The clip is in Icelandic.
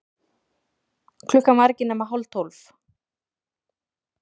Klukkan var ekki nema hálftólf.